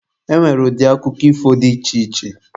E nwere ụdị akụkọ ifo dị iche iche.